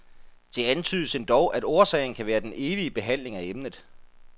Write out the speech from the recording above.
Det antydes endog, at årsagen kan være den evige behandling af emnet.